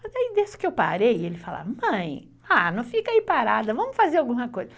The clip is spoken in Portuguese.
Mas aí, desde que eu parei, ele fala, mãe, não fica aí parada, vamos fazer alguma coisa.